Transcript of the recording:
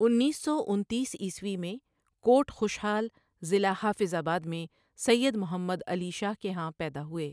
انیس سو انتیس عیسوی میں کوٹ خوشحال ضلع حافظ آباد میں سید محمد علی شاہ کےہاں پیداہوئے۔